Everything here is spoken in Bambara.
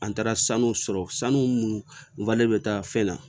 An taara sanu sɔrɔ sanu munnu be taa fɛn na